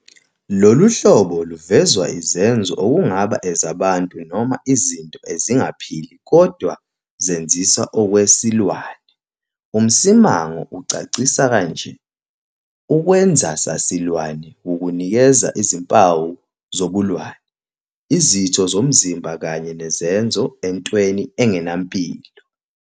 Lolu hlobo luvezwa izenzo okungaba ezabantu noma izinto ezingaphili kodwa zenzisa okwesilwane. UMsimang, 1997-138, ucacisa kanje- "Ukwenzasasilwane wukunikeza izimpawu zobulwane, izitho zomzimba kanye nezenzo, entweni engenampilo.